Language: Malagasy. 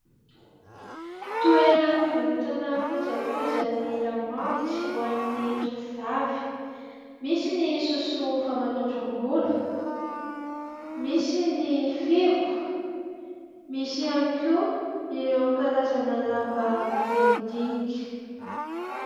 Toeram-pivarotana kojakojan'ny lamaody, ho an'ny tovovavy. Misy ny sosoa famatoram-bolo, misy ny fihogo, misy ihany koa ireo karazana lamba madinidinika.